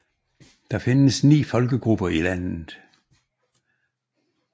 Der findes ni folkegrupper i landet